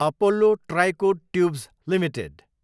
Apollo Tricoat tubes Ltd